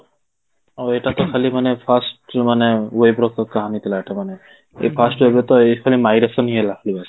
ଆଉ ଏଇଟା ତା ଖାଲି ମାନେ first ମାନେ wave ର କାହାଣୀ ଥିଲା ଏଟା ମାନେ ଏଇ first wave ରେ ତ ଏଇ ଖାଲି ଇଏ ହେଲା